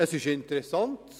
Es ist interessant: